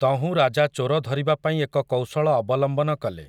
ତହୁଁ ରାଜା ଚୋର ଧରିବା ପାଇଁ ଏକ କୌଶଳ ଅବଲମ୍ବନ କଲେ ।